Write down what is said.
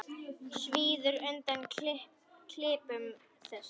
Svíður undan klipum þess.